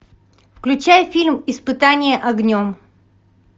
включай фильм испытание огнем